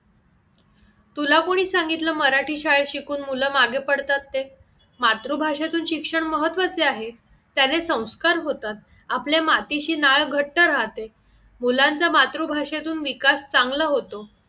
तुला कोणी सांगितलं मराठी शाळेत शिकून मुलं मागे पडतात ते? मातृ भाषातून शिक्षण महत्वाचे आहे, त्याने संस्कार होतात, आपल्या अँटीशी नाळ घट्ट राहते, मुलांचा मातृ भाषेतून विकास चांगला होतो